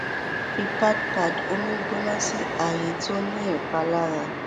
fi pad pad omi gbona si aaye ti o ni ipalara